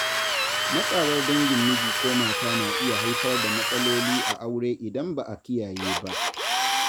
Matsawar dangin miji ko mata na iya haifar da matsaloli a aure idan ba a kiyaye ba.